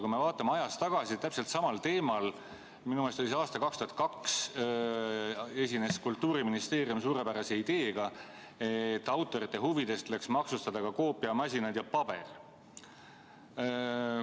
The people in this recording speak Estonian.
Kui me vaatame ajas tagasi – minu meelest oli see aastal 2002 –, siis täpselt samal teemal esines Kultuuriministeerium oma suurepärase ideega, et autorite huvides tuleks maksustada ka koopiamasinad ja -paber.